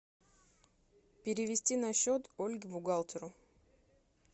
перевести на счет ольге бухгалтеру